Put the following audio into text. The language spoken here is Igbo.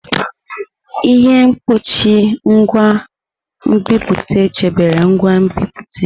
Ihe mkpuchi nke ngwa nbipute chebere ngwa nbipute.